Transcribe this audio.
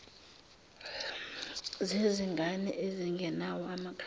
zezingane ezingenawo amakhaya